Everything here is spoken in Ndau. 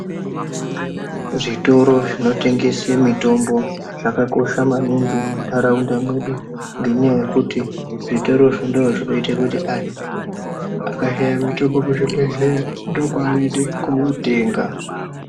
Zvitoro zvinotengese mitombo zvakakosha maningi mundaraunda medu ngenyaya yekuti zvitorozvo ndozvinoite kuti anhu akashaye mitombo kuzvibhedhleya ndokwaanoende kotenga.